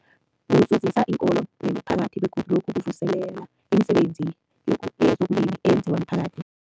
Kuzuzisa iinkolo nemiphakathi begodu lokhu kuvuselela imisebenzi yezokulima eyenziwa miphakathi.